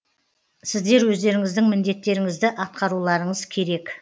сіздер өздеріңіздің міндеттеріңізді атқаруларыңыз керек